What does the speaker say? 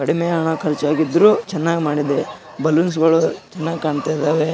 ಮಧ್ಯದಲ್ಲಿ happy birthday sticker ಅನ್ನು ಹಾಕಿದ್ದಾರೆ. ಇಲ್ಲಿ ಹುಡುಗ್ಯಾರು ಕೂತಿದ್ದಾರೆ.